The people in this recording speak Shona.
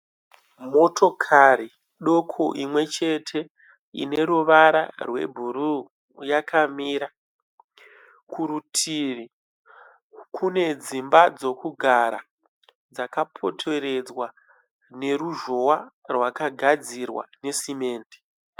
Motokari doko imwe chete ine ruvara rwebhuruu yakamira. Kurutivi kune dzimba dzokugara dzakapoteredzwa neruzhowa rwakagadzirwa nesimende.